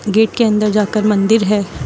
Gate के अंदर जा कर मंदिर है।